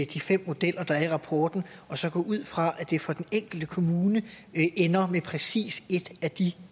de fem modeller der er i rapporten og så gå ud fra at det for den enkelte kommune ender med præcis et af de